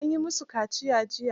An yi musu kaciya jiya.